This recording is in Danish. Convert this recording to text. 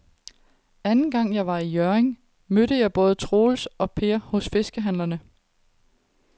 Anden gang jeg var i Hjørring, mødte jeg både Troels og Per hos fiskehandlerne.